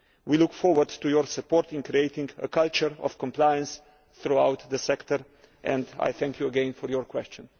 We look forward to your support in creating a culture of compliance throughout the sector and I thank you again for your question.